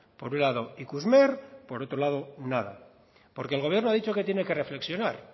por un lado ikusmer y por otro lado nada porque el gobierno ha dicho que tiene que reflexionar